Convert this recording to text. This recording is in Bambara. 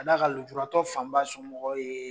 Ka d'a kan lojuratɔ fanba somɔgɔw ye.